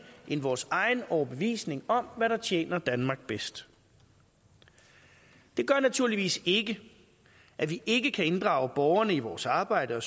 end vores egen overbevisning om hvad der tjener danmark bedst det gør naturligvis ikke at vi ikke kan inddrage borgerne i vores arbejde og